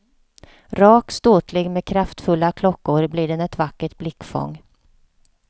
Rak, ståtlig med kraftfulla klockor blir den ett vackert blickfång.